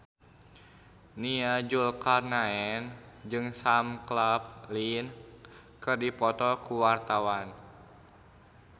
Nia Zulkarnaen jeung Sam Claflin keur dipoto ku wartawan